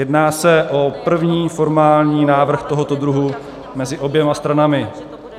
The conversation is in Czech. Jedná se o první formální návrh tohoto druhu mezi oběma stranami.